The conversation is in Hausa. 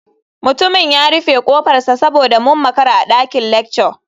Mutumin ya rufe kofarsa saboda mun makara a dakin lecture.